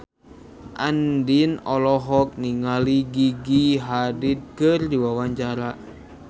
Andien olohok ningali Gigi Hadid keur diwawancara